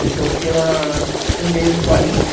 E então, eu fiquei lá um mês em Paris.